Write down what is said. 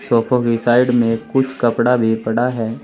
सोफों की साइड में कुछ कपड़ा भी पड़ा है।